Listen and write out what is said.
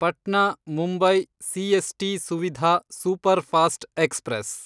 Patna Mumbai CST Suvidha superfast express